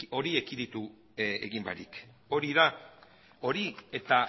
hori ekiditu egin barik hori da hori eta